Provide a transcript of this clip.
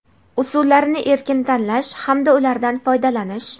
usullarini erkin tanlash hamda ulardan foydalanish;.